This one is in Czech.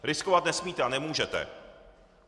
Riskovat nesmíte a nemůžete.